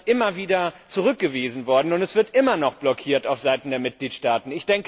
Das ist immer wieder zurückgewiesen worden, und es wird immer noch blockiert von Seiten der Mitgliedstaaten.